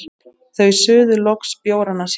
Þau suðu loks bjórana sína.